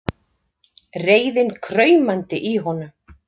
Reiðin kraumandi í honum.